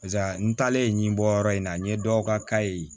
Pasa n talen ɲinbɔ yɔrɔ in na n ye dɔw ka kaye